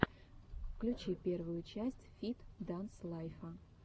включи первую часть фит данс лайфа